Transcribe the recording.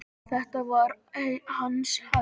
Þetta var hans hefð.